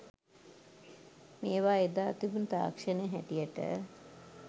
මේවා එදා තිබුණ තාක්ෂණය හැටියට